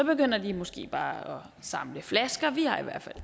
begynder de måske bare at samle flasker vi har i hvert fald